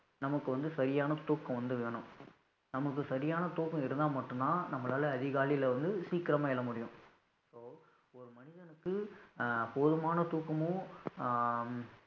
நமக்கு வந்து சரியான தூக்கம் வந்து வேணும், நமக்கு சரியான தூக்கம் இருந்தா மட்டும்தான் நம்மளால, அதிகாலையிலே வந்து சீக்கிரமா எழ முடியும் so ஒரு மனிதனுக்கு அஹ் போதுமான தூக்கமும் அஹ்